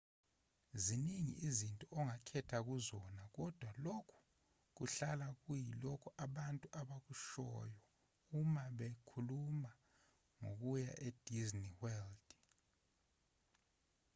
ziningi izinto ongakhetha kuzona kodwa lokhu kuhlala kuyilokho abantu abakushoyo uma bekhuluma ngokuya e-disney world